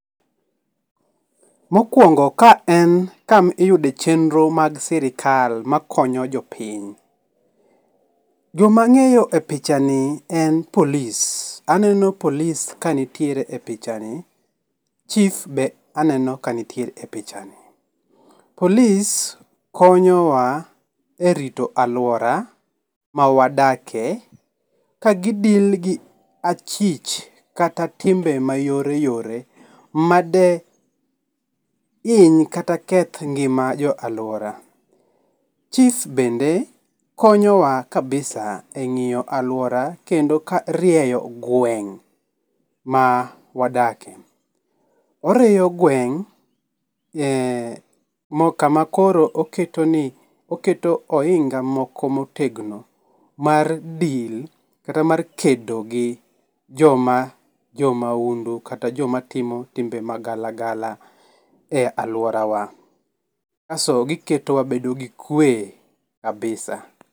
Mokuongo ka en kama iyude chenro mag sirkal ma konyo jopiny. jo ma ang'eyo e pichani en polis, aneno polis ka nitiere e pichani, chif be aneno ka nitie e pichani .Polis konyowa e rito aluora ma wadakie ka gi deal gi achich kata timbe ma yoreyore ma de hiny kata keth ng'ima jo aluora chif bende konyowa kabisa e ng'iyo aluora kendo ka rieyo gweng' ma wadakie. Orieyo gweng' kama koro oketo ni oinga moko motegno mar deal kata mar kedo gi joma, jo maundu kata jo ma timo timbe magalagala e aluorawa kas to gi keto wabedo gi kwe kabisa.